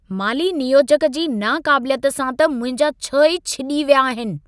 माली नियोजक जी नाक़ाबिलियत सां त मुंहिंजा छह ई छिॼी विया आहिनि।